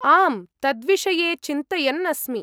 आम्, तद्विषये चिन्तयन् अस्मि।